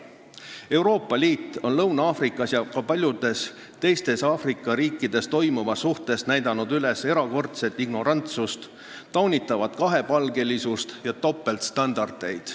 Euroopa Liit on Lõuna-Aafrika Vabariigis ja ka paljudes teistes Aafrika riikides toimuva suhtes näidanud üles erakordset ignorantsust, taunitavat kahepalgelisust ja topeltstandardeid.